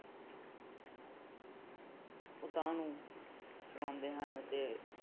ਉਤਾਂਹ ਨੂੰ ਚੜਾਉਂਦੇ ਹਨ ਤੇ